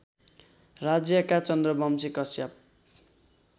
राज्यका चन्द्रवंशी काश्यप